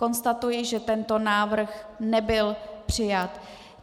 Konstatuji, že tento návrh nebyl přijat.